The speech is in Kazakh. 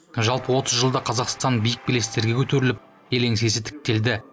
жалпы отыз жылда қазақстан биік белестерге көтеріліп ел еңсесі тіктелді